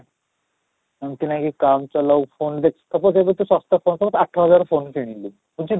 ଏମିତି ନାହିଁକି phone ଦେଖ ତୁ ତ ଏବେ ଶସ୍ତା ଶସ୍ତା ଆଠ ହଜାରରେ phone କିଣିଲୁ ବୁଝି